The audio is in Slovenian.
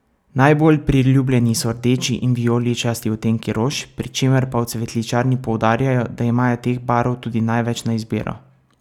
Najbolj priljubljeni so rdeči in vijoličasti odtenki rož, pri čemer pa v cvetličarni poudarjajo, da imajo teh barv tudi največ na izbiro.